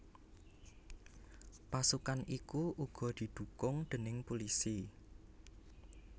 Pasukan iku uga didhukung déning pulisi